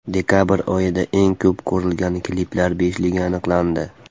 Dekabr oyida eng ko‘p ko‘rilgan kliplar beshligi aniqlandi.